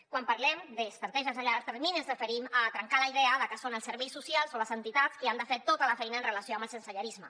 quan parlem d’estratègies a llarg termini ens referim a trencar la idea de que són els serveis socials o les entitats qui ha de fer tota la feina amb relació al sensellarisme